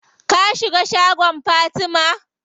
Ka shiga shagon Fatima?